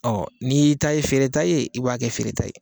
Ɔ n'i y'i ta ye feereta ye i b'a kɛ feere ta ye